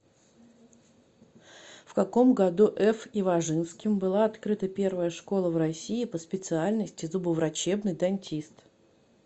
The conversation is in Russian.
в каком году ф и важинским была открыта первая школа в россии по специальности зубоврачебный дантист